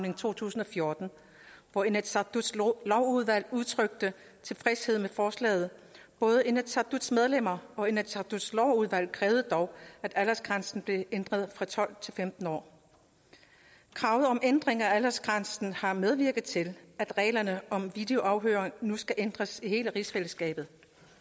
i to tusind og fjorten hvor inatsisartuts lovudvalg udtrykte tilfredshed med forslaget både inatsisartuts medlemmer og inatsisartuts lovudvalg krævede dog at aldersgrænsen blev ændret fra tolv til femten år kravet om ændring af aldersgrænsen har medvirket til at reglerne om videoafhøring nu skal ændres i hele rigsfællesskabet